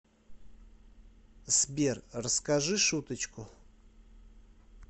сбер расскажи шуточку